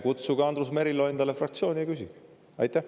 Kutsuge Andrus Merilo endale fraktsiooni ja küsige!